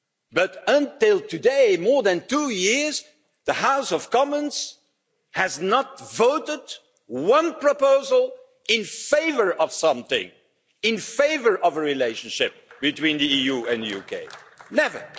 But until today, for more than two years the House of Commons has not voted one proposal in favour of something, in favour of a relationship between the EU and UK never!